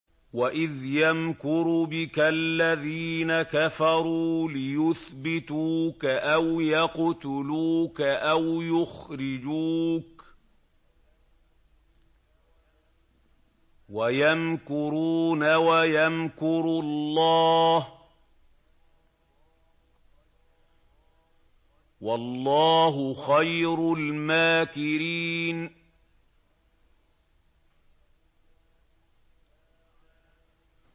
وَإِذْ يَمْكُرُ بِكَ الَّذِينَ كَفَرُوا لِيُثْبِتُوكَ أَوْ يَقْتُلُوكَ أَوْ يُخْرِجُوكَ ۚ وَيَمْكُرُونَ وَيَمْكُرُ اللَّهُ ۖ وَاللَّهُ خَيْرُ الْمَاكِرِينَ